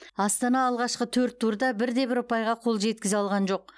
астана алғашқы төрт турда бірде бір ұпайға қол жеткізе алған жоқ